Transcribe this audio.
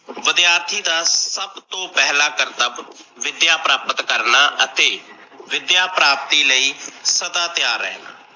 ਵਿਦਿਆਰਥੀ ਦਾ ਸੱਬ ਤੋਂ ਪਹਿਲਾ ਕਰਤਬ ਵਿਦਿਆ ਪ੍ਰਾਪਤ ਕਰਨਾ ਅਤੇ ਵਿਦਿਆ ਪ੍ਰਾਪਤੀ ਲਈ ਸਦਾ ਤਿਆਰ ਰਹਣਾ।